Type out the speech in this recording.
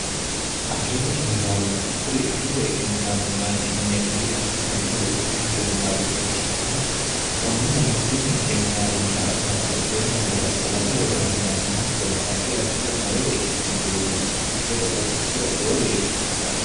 agirote kemikaalubba kuri agirote kemikaalubbaati yineemmori addi addi horo iitanno kemikaalubba ikkitanna konnirano tini kemikaalubba babba xeewo basera sagale worranniwanna hattono addi addira horote ikkanno uduunnichi ledo horoonsira lowo geesha hsiissanno